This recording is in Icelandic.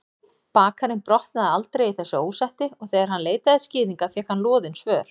Bakarinn botnaði aldrei í þessu ósætti og þegar hann leitaði skýringa fékk hann loðin svör.